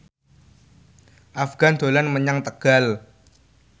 Afgan dolan menyang Tegal